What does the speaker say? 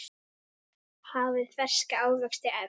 Hafið ferska ávexti efst.